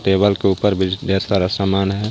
Table के ऊपर business सामान है.